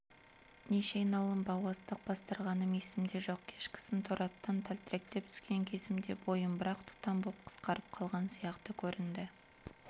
неше айналым бау астық бастырғаным есімде жоқ кешкісін торы аттан тәлтіректеп түскен кезімде бойым бір-ақ тұтам боп қысқарып қалған сияқты көрінді